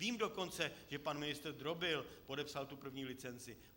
Vím dokonce, že pan ministr Drobil podepsal tu první licenci.